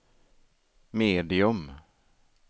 medium